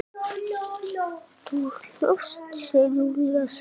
Þú hlóst, segir Júlía sár.